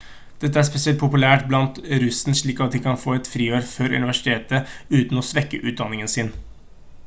dette er spesielt populært blant russen slik at de kan ta et friår før universitetet uten å svekke utdanningen sin